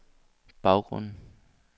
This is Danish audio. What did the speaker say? baggrunden